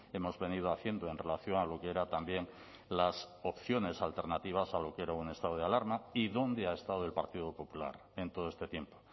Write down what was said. hemos venido haciendo en relación a lo que era también las opciones alternativas a lo que era un estado de alarma y dónde ha estado el partido popular en todo este tiempo